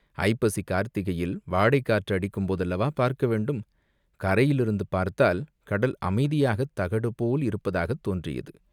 ஐப்பசி, கார்த்திகையில் வாடைக் காற்று அடிக்கும் போதல்லவா பார்க்க வேண்டும்?" கரையிலிருந்து பார்த்தால் கடல் அமைதியாகத் தகடு போல் இருப்பதாகத் தோன்றியது.